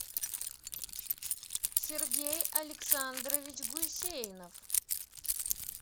сергей александрович гусейнов